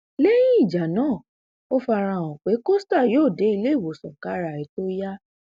lẹyìn ìjà náà ó fara hàn pé costa yóò dé iléewòsàn kára ẹ tóó yá